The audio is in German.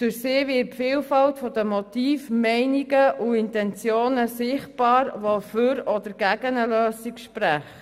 Durch sie wird die Vielfalt der Motive, Meinungen und Intensionen sichtbar, die für oder gegen eine Lösung sprechen.